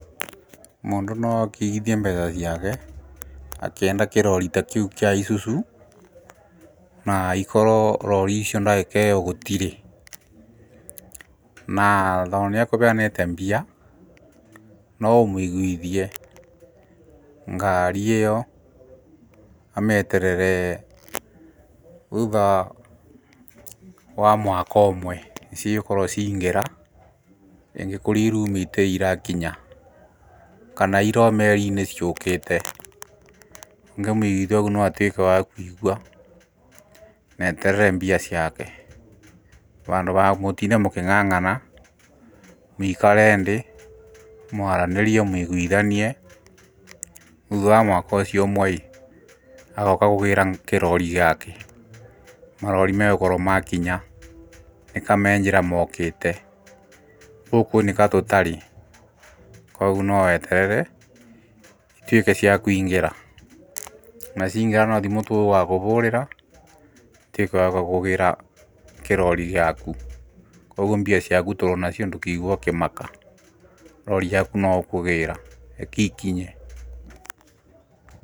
Mũndũ no oke aigĩthie mbeca ciake akĩenda kĩrori ta kĩu kia isuzu na ikorwo rori icio ndagĩka ĩyo gũtirĩ. Na tondũ nĩ akũheanĩte mbia no ũmũigũithie ngari ĩyo amĩeterere thutha wa mwaka ũmwe nĩ cigũkorwo cia ingĩra rĩngĩ kũrĩa iraumĩte irakinya, kana irĩ o merinĩ ciũkĩte. Ũngĩ mũiguithia ũgũo no atuĩke wa kũigwa, na eterere mbia ciake. Handũ ha gũtinda mũkĩng'ang'ana, mũikare thĩ, mwaranĩrie mũiguithanie thutha wa mwaka ucio ũmwe ĩĩ, agoka kũgĩra kirori giake. Marori megũkorwo makinya nĩka me njĩra mokĩte, gũkũ nĩ ka tũtarĩ, koguo no weterere ituĩke cia kũingĩra, na ciaingĩra no thimũ tugakũhũrĩra ũtuĩke wa kũgĩra kĩrori giaku. Koguo mbia ciaku turĩonacio ndũkaigwe ũkĩmaka rori yaku no ũkũgĩra reke ikinye.